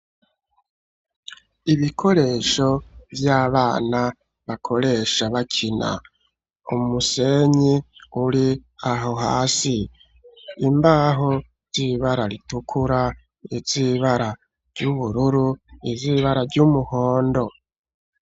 Ibikoresho vy'abana bakoresha bakina. Umusenyi uri aho hasi, imbaho z'ibara ritukura, iz'ibara ry'ubururu, iz’ibara ry'umuhondo.